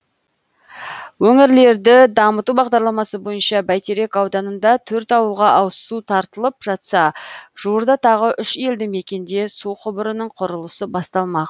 өңірлерді дамыту бағдарламасы бойынша бәйтерек ауданында төрт ауылға ауызсу тартылып жатса жуырда тағы үш елді мекенде су құбырының құрылысы басталмақ